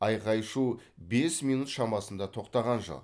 айқай шу бес минут шамасында тоқтаған жоқ